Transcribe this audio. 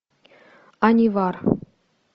анивар